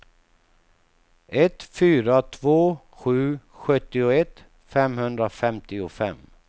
ett fyra två sju sjuttioett femhundrafemtiofem